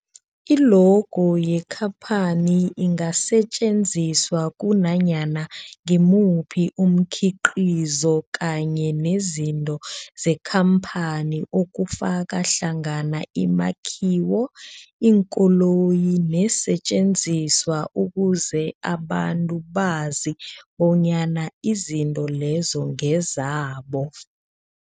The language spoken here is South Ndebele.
I-logo yekhaphani ingasetjenziswa kunanyana ngimuphi umkhiqizo kanye nezinto zekhamphani okufaka hlangana imakhiwo, iinkoloyi neesentjenziswa ukuze abantu bazi bonyana izinto lezo ngezabo.